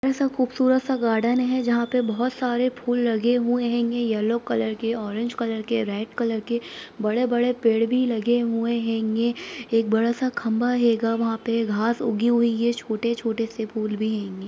ऐसा खूबसूरत सा गार्डन है जहाँ पर बहुत सारे फूल लगे हुए हैं येलो कलर के ऑरेंज कलर के रेड कलर के बड़े-बड़े पेड़ भी लगे हुए हैंगे एक बड़ा सा खंबा हैगा वहाँ पे घास उगी हुई है छोटे-छोटे से फूल भी हैंगे।